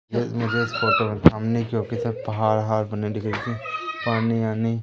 मुझे इस फोटो में सामने की ओर सब पहाड़ अहाड़ बने पानी आनी--